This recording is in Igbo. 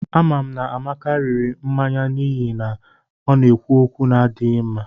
Amam na Amaka riri mmanya n'ihi o na-ekwu okwu n'adighi nma